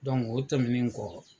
o tɛmɛnen kɔ.